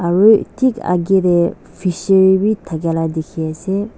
aro thik agey tey fishery b thakia la dikhi ase.